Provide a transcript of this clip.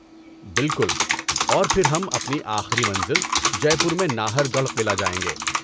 بالکل۔ اور پھر ہم اپنی آخری منزل جے پور میں ناہر گڑھ قلعہ جائیں گے۔